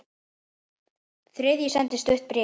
Þriðji sendi stutt bréf